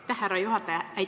Aitäh, härra juhataja!